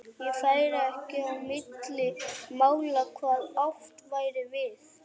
Þá færi ekki á milli mála hvað átt væri við.